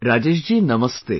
Rajesh ji Namaste